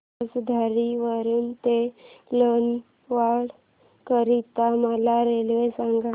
पळसधरी वरून ते लोणावळा करीता मला रेल्वे सांगा